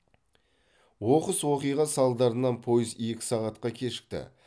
оқыс оқиға салдарынан пойыз екі сағатқа кешікті